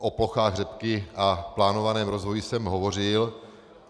O plochách řepky a plánovaném rozvoji jsem hovořil.